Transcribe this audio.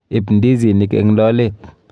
Ib ndizinik eng lolet.